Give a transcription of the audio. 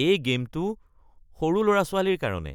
এই গে'মটো সৰু ল'ৰা-ছোৱালীৰ কাৰণে।